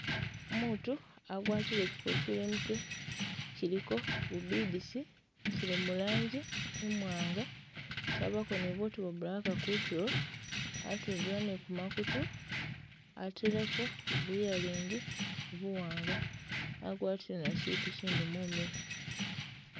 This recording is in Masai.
Umutu agwatile kyikofiila imutwe kyiliko bu beads kyili mu rangi imwanga kyabako nibutu bwa black kutulo atundula nikumakutu ateleko bu ear ring buwanga agwatile ne kyitu kyindi mumilo